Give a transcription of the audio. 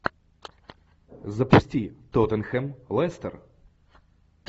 запусти тоттенхэм лестер